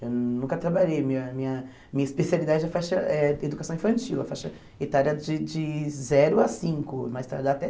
Eu nunca trabalhei, minha minha minha especialidade é faixa é educação infantil, a faixa etária de de zero a cinco, mais tardar até